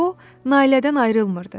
O, Nailədən ayrılmırdı.